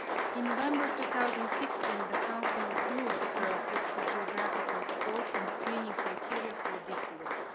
In November 2016, the Council approved the process, geographical scope and screening criteria for this work.